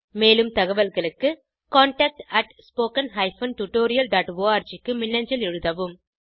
மேலும் தகவல்களுக்கு contactspoken tutorialorg க்கு மின்னஞ்சல் எழுதவும்